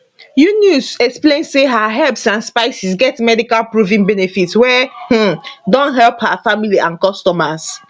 yunus explain say her herbs and spices get medical proven benefits wey um don help her family and customers